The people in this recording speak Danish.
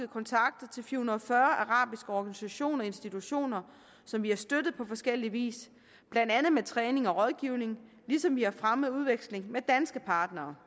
kontakter til fire hundrede og fyrre arabiske organisationer og institutioner som vi har støttet på forskellig vis blandt andet med træning og rådgivning ligesom vi har fremmet udvekslingen med danske partnere